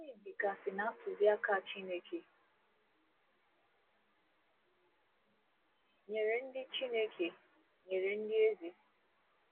Gịnị dịgasị ná ntụziaka Chineke nyere ndị Chineke nyere ndị eze?